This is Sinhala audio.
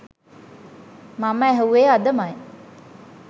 මම ඇහුවෙ අදමයි